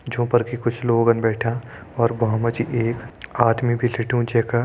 जों पर कि कुछ लोगन बैठ्यां अर भ्वाँ मा जी एक आदमी भी लेटियूं जैका --